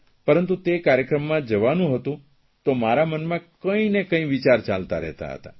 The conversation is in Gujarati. પરંતુ તે કાર્યક્રમમાં જવાનું હતું તે મારા મનમાં કંઇને કંઇ વિચાર ચાલતા રહેતા હતા